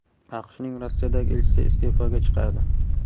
AQShning Rossiyadagi elchisi iste’foga chiqadi.